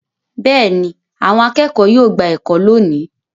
Bẹ́ẹ̀ ni, àwọn akẹ́kọ̀ọ́ yóò gba ẹ̀kọ́ lónìí.